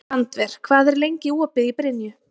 Randver, hvað er lengi opið í Brynju?